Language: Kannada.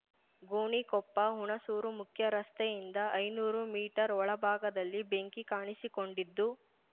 ಗೋಣಿಕೊಪ್ಪ ಹುಣಸೂರು ಮುಖ್ಯ ರಸ್ತೆಯಿಂದ ಐನೂರು ಮೀಟರ್ ಒಳ ಭಾಗದಲ್ಲಿ ಬೆಂಕಿ ಕಾಣಿಸಿಕೊಂಡಿದ್ದು